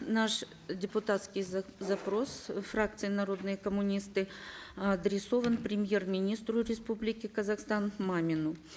наш депутатский запрос фракции народые коммунисты адресован премьер министру республики казахстан мамину